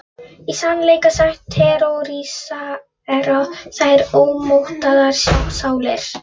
Í sannleika sagt terrorísera þær ómótaðar sálir.